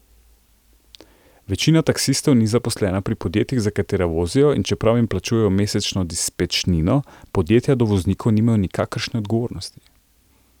Večina taksistov ni zaposlena pri podjetjih, za katera vozijo, in čeprav jim plačujejo mesečno dispečnino, podjetja do voznikov nimajo nikakršne odgovornosti.